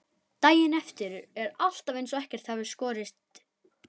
Daginn eftir er alltaf eins og ekkert hafi í skorist.